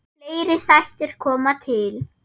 Fleiri þættir koma til.